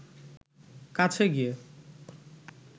কাছে গিয়ে